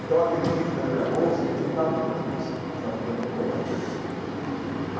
Então aquele livro dentro da minha bolsa, eles não estavam procurando isso, eles estavam procurando outra coisa.